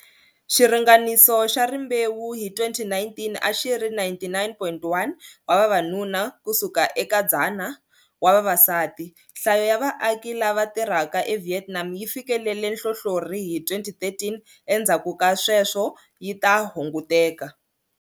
Xiringaniso xa rimbewu hi 2019 a xi ri 99.1 wa vavanuna ku suka eka 100 wa vavasati. Nhlayo ya vaaki lava tirhaka eVietnam yi fikelele nhlohlorhi hi 2013, endzhaku ka sweswo yi ta hunguteka.